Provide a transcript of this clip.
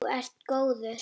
Þú ert góður.